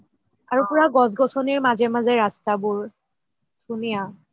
আৰু পুৰা গছ গছনিৰ মাজে মাজে ৰাস্তাবোৰ ধুনীয়া